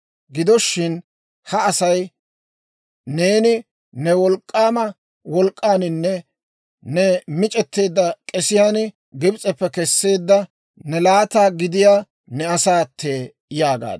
Gido shin, ha Asay neeni ne wolk'k'aama wolk'k'aaninne ne mic'etteedda k'esiyaan Gibs'eppe Kesseedda ne laata gidiyaa ne asaattee› yaagaad.